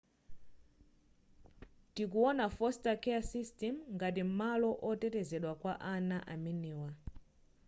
tikuwona foster care system ngati malo otetezedwa kwa ana amenewa